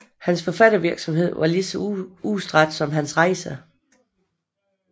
Hans forfattervirksomhed var lige så udstrakt som hans rejser